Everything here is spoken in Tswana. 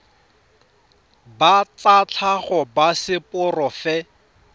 ba tsa tlhago ba seporofe